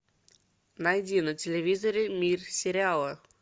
найди на телевизоре мир сериала